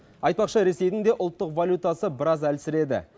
айтпақшы ресейдің де ұлттық валютасы біраз әлсіреді